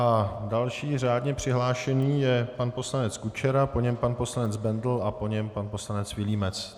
A další řádně přihlášený je pan poslanec Kučera, po něm pan poslanec Bendl a po něm pan poslanec Vilímec.